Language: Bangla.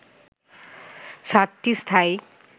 ৭ টি স্থায়ী